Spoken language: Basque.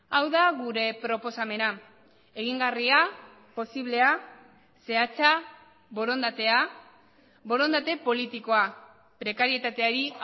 hau da gure proposamena egingarria posiblea zehatza borondatea borondate politikoa prekarietateari